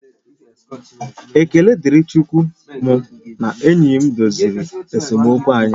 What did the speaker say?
Ekele dịrị Chukwu mụ na enyi m doziri esemokwu anyị